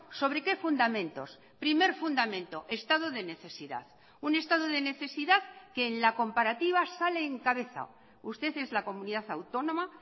sobre qué fundamentos primer fundamento estado de necesidad un estado de necesidad que en la comparativa sale en cabeza usted es la comunidad autónoma